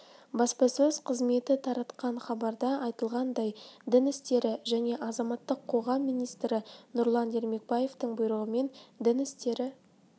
баспасөз қызметі таратқан хабарда айтылғандай дін істері және азаматтық қоғам министрі нұрлан ермекбаевтың бұйрығымен дін істері